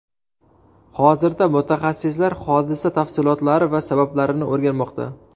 Hozirda mutaxassislar hodisa tafsilotlari va sabablarini o‘rganmoqda.